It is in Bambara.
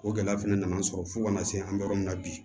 O gɛlɛya fɛnɛ nana sɔrɔ fo ka na se an bɛ yɔrɔ min na bi